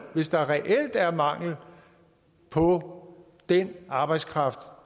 hvis der reelt er mangel på den arbejdskraft